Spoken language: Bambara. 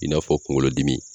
I n'a fɔ kunkolodimi